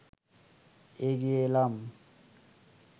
এগিয়ে এলাম